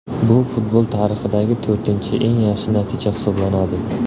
Bu futbol tarixidagi to‘rtinchi eng yaxshi natija hisoblanadi.